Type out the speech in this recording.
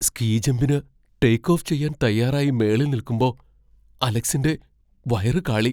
Ski ജംമ്പിന് take off ചെയ്യാൻ തയ്യാറായി മേളിൽ നിൽക്കുമ്പോ അലക്സിന്റെ വയറു കാളി .